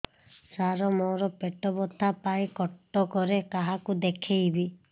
ସାର ମୋ ର ପେଟ ବ୍ୟଥା ପାଇଁ କଟକରେ କାହାକୁ ଦେଖେଇବି